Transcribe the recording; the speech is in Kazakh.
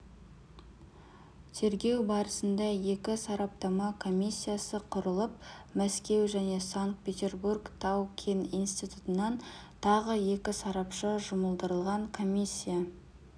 тергеу барысында екі сараптама комиссиясы құрылып мәскеу және санкт-петербург тау-кен институтынан тағы екі сарапшы жұмылдырылған комиссия